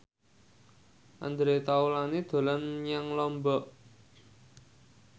Andre Taulany dolan menyang Lombok